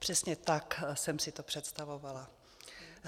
Přesně tak jsem si to představovala.